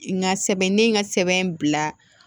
N ka sɛbɛn ne ye n ka sɛbɛn bila